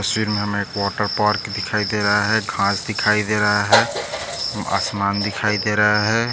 इस तस्वीर मे हमे एक वॉटरपार्क दिखाई दे रहा है घास दिखाई दे रहा है आसमान दिखाई दे रहा है।